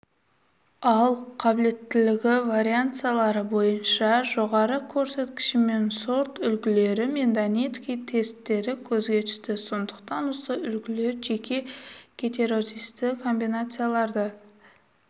ал қабілеттілігі вариансалары бойынша жоғары көрсеткішімен сортүлгілері мен донецкий тестері көзге түсті сондықтан осы үлгілер жеке гетерозисті комбинацияларды